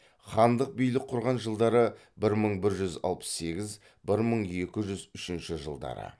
хандық билік құрған жылдары бір мың бір жүз алпыс сегіз бір мың екі жүз үшінші жылдары